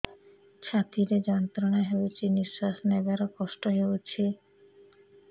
ଛାତି ରେ ଯନ୍ତ୍ରଣା ହେଉଛି ନିଶ୍ଵାସ ନେବାର କଷ୍ଟ ହେଉଛି